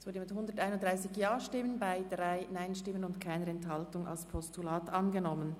Sie haben die Ziffer 1 mit 131 Ja- gegen 3 Nein-Stimmen ohne Enthaltungen angenommen.